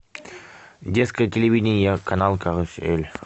детское телевидение канал карусель